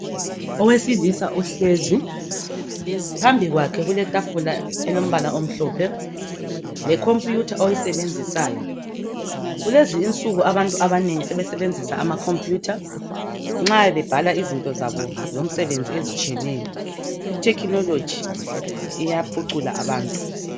Owesilisa uhlezi phambi kwakhe kuletafula elombala omhlophe le khompuyutha oyisebenzisayo kulezi nsuku abantu abanengi sebesebenzisa amakhompuyutha nxa bebhala izinto zabo zomsebenzi ezitshiyeneyo ithekinoloji iyaphucula abantu